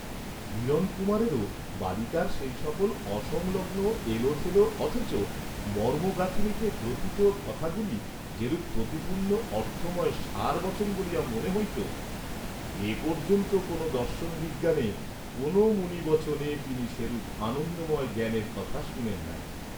হিরণকুমারেরও বালিকার সেই সকল অসংলগ্ন এলোথেলো অথচ মর্ম গাঁথুনীতে গ্রথিত কথাগুলি যেরূপ প্রতিপূর্ণ অর্থময় সারবচন বলিয়া মনে হইত এপর্যন্ত কোন দর্শনবিজ্ঞানে কোন মুনিবচনে তিনি সেরূপ আনন্দময় জ্ঞানের কথা শুনেন নাই।